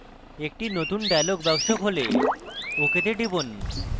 একটি নতুন dialog box খোলে ok তে টিপুন